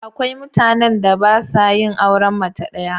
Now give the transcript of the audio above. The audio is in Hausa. Akwai mutanen da ba sa yin auren mace ɗaya.